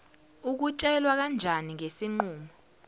ukutshelwa kanjani ngesinqumo